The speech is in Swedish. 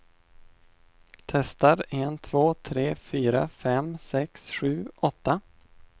Testar en två tre fyra fem sex sju åtta.